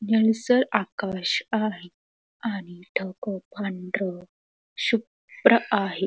निळसळ आकाश आहे आणि ढग पांढर शु भ्र आहे.